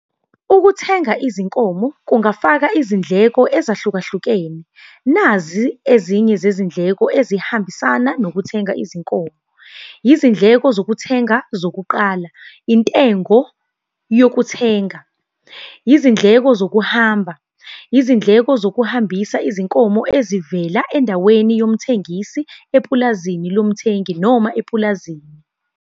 Ukuthenga izinkomo, kungafaka izindleko ezahlukehlukene. Nazi ezinye zezindleko ezihambisana nokuthenga izinkomo. Izindleko zokuthenga zokuqala, intengo yokuthenga. Izindleko zokuhamba, izindleko zokuhambisa izinkomo ezivela endaweni yomthengisi, epulazini lomthengi noma epulazini.